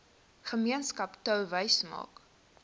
gemeenskap touwys maak